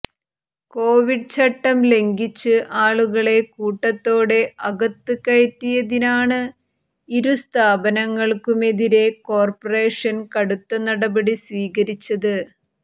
Covid ചട്ടം ലംഘിച്ച് ആളുകളെ കൂട്ടത്തോടെ അകത്ത് കയറ്റിയതിനാണ് ഇരുസ്ഥാപനങ്ങൾക്കുമെതിരെ കോർപ്പറേഷൻ കടുത്ത നടപടി സ്വീകരിച്ചത്